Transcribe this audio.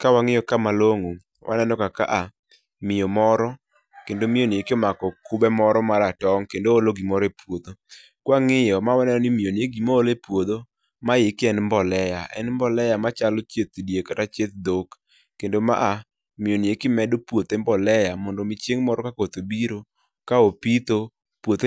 Ka wang'iyo ka malong'o, waneno ka ka miyo moro kendo miyo i omako kube moro maratong', kendo oolo gimoro e puodho. kwa ng'iyo ma waneno ni gima oolo e puodho ma eki en mbolea, en [csmbolea machalo chieth diek kata chieth dhok, kendo maa, miyo ni medo puothe [R]mbolea[R] mondo mi chieng' moro ka koth obiro, ka opitho , puothe